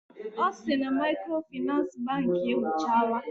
Ọ sị na maịkrofịnans bankị ewuchala